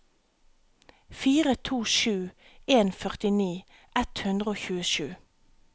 fire to sju en førtini ett hundre og tjuesju